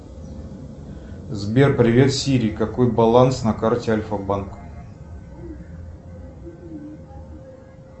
сбер привет сири какой баланс на карте альфабанк